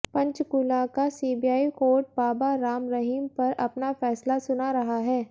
पंचकूला का CBI court Baba Ram Rahim पर अपना फैसला सुना रहा है